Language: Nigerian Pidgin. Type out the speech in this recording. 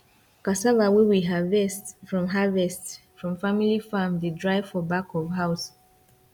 cassava wey we harvest from harvest from family farm dey dry for back of house